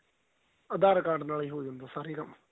aadhar card ਨਾਲ ਹੋ ਜਾਂਦਾ ਸਾਰੇ ਕੰਮ